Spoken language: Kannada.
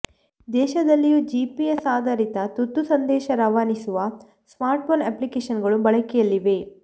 ದೇಶದಲ್ಲಿಯೂ ಜಿಪಿಎಸ್ ಆಧಾರಿತ ತುರ್ತು ಸಂದೇಶ ರವಾನಿಸುವ ಸ್ಮಾರ್ಟ್ಫೋನ್ ಅಪ್ಲಿಕೇಷನ್ಗಳು ಬಳಕೆಯಲ್ಲಿವೆ